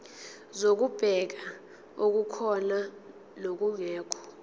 zokubheka okukhona nokungekho